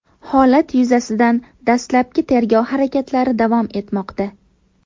Holat yuzasidan dastlabki tergov harakatlari davom etmoqda.